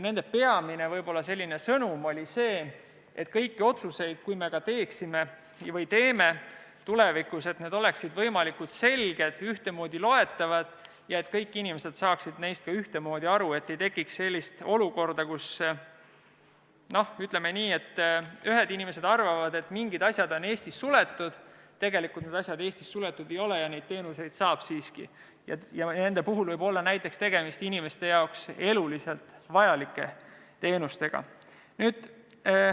Nende peamine sõnum oli see, et kõik otsused, mida me teeme tulevikus, peaksid olema võimalikult selged ja ühtemoodi loetavad ning et kõik inimesed peaksid neist ka ühtemoodi aru saama, et ei tekiks sellist olukorda, kus, ütleme nii, ühed inimesed arvavad, et mingid asjad on Eestis suletud, aga tegelikult need asjad Eestis suletud ei ole ja neid teenuseid siiski saab, kusjuures need võivad olla näiteks inimeste jaoks eluliselt vajalikud teenused.